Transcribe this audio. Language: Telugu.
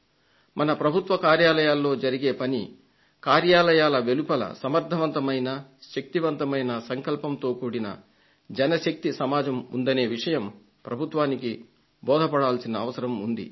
మన ప్రభుత్వ కార్యాలయాల్లో జరిగే పని కార్యాలయాల వెలుపల సమర్ధమైన శక్తిమంతమైన సంకల్పంతో కూడిన జన శక్తి సమాజం ఉందనే విషయం ప్రభుత్వానికి బోధపడాల్సిన అవసరం ఉంది